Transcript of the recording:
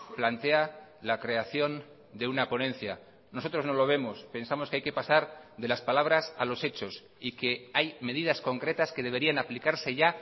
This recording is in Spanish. plantea la creación de una ponencia nosotros no lo vemos pensamos que hay que pasar de las palabras a los hechos y que hay medidas concretas que deberían aplicarse ya